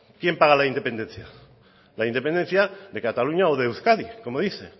quién paga la independencia la independencia de cataluña o de euskadi como dice